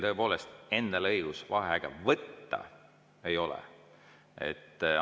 Teil endal õigust vaheaega võtta tõepoolest ei ole.